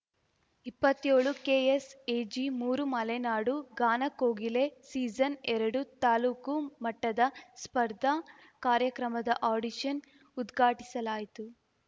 ಇಪ್ಪತ್ತ್ಯೋಳುಕೆಎಸ್‌ಎಜಿಮೂರು ಮಲೆನಾಡು ಗಾನ ಕೋಗಿಲೆ ಸೀಸನ್‌ಎರಡು ತಾಲ್ಲೂಕು ಮಟ್ಟದ ಸ್ಪರ್ಧಾ ಕಾರ್ಯಕ್ರಮದ ಅಡಿಷನ್‌ ಉದ್ಘಾಟಿಸಲಾಯಿತು